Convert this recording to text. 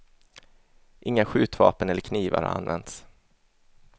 Inga skjutvapen eller knivar har använts.